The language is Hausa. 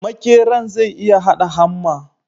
Makeran zai iya hada hamma